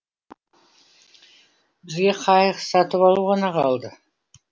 бізге қайық сатып алу ғана қалды